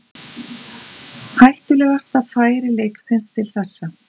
Hættulegasta færi leiksins til þessa.